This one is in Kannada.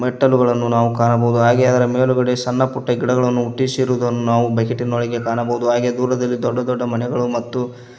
ಮೆಟ್ಟಲುಗಳನ್ನು ನಾವು ಕಾಣಬಹುದು ಹಾಗೆ ಅದರ ಮೇಲುಗಡೆ ಸಣ್ಣ ಪುಟ್ಟ ಗಿಡಗಳನ್ನು ಹುಟ್ಟಿಸಿರುವುದನ್ನು ನಾವು ಬಕೆಟಿ ನ ಒಳಗೆ ಕಾಣಬಹುದು ಹಾಗೆ ದೂರದಲ್ಲಿ ದೊಡ್ಡ ದೊಡ್ಡ ಮನೆಗಳು ಮತ್ತು --